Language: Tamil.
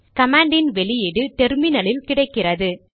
கமாண்டின் அவுட்புட் டெர்மினலில் கிடைக்கிறது